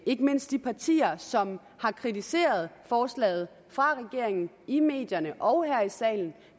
ikke mindst de partier som har kritiseret forslaget fra regeringen i medierne og her i salen